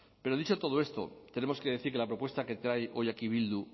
pero dicho todo esto tenemos que decir que la propuesta que trae hoy aquí bildu